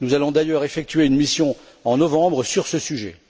Nous allons d'ailleurs effectuer une mission en novembre sur ce sujet.